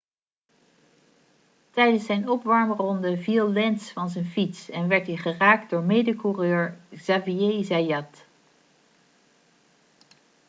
tijdens zijn opwarmronde viel lenz van zijn fiets en werd hij geraakt door mede-coureur xavier zayat